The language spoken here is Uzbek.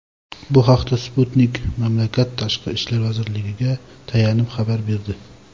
Bu haqda "Sputnik" mamlakat Tashqi ishlar vazirligiga tayanib xabar berdi.